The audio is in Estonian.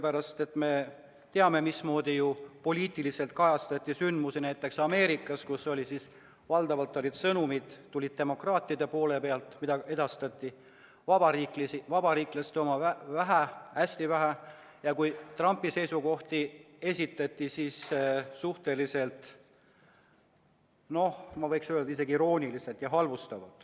Me ju teame, mismoodi poliitiliselt kajastati sündmusi näiteks Ameerikas, kus valdavalt tulid sõnumid demokraatide poole pealt, vabariiklaste omi edastati vähe, hästi vähe, ning Trumpi seisukohti esitati suhteliselt, ma võiks öelda, irooniliselt ja halvustavalt.